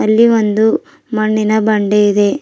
ಇಲ್ಲಿ ಒಂದು ಮಣ್ಣಿನ ಬಂಡೆ ಇದೆ.